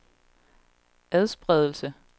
adspredelse